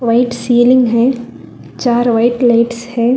White ceiling है चार white lights है।